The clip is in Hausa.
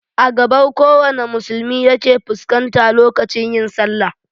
Every Muslim points to the East direction during prayer